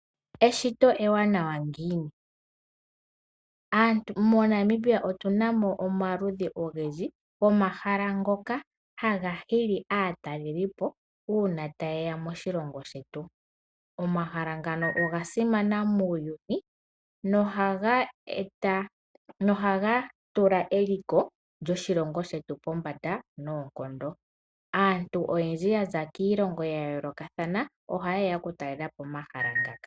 Eshito ewanawa ngiini. Monamibia otunamo omaludhi ogendji gomahala ngoka haga hili aatalelipo uuna tayeya moshilongo shetu. Omahala ngano oga simana muuyuni nohaga tula eliko lyoshilongo shetu pombanda noonkondo. Aanti oyendji yaza kiilongo ya yoolokathana ohayeya okutalelapo omahala ngaka.